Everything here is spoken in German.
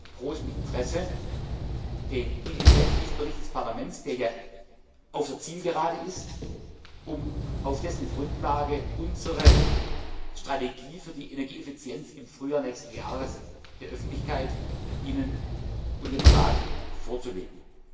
Ich erwarte mit großem Interesse den Initiativbericht des Parlaments, der ja auf der Zielgerade ist, um auf dessen Grundlage unsere Strategie für die Energieeffizienz im Frühjahr nächsten Jahres der Öffentlichkeit und Ihnen und dem Rat vorzulegen.